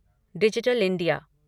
digital India